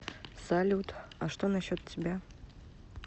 салют а что насчет тебя